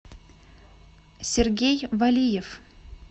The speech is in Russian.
сергей валиев